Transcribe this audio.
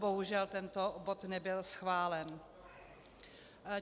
Bohužel, tento bod nebyl schválen.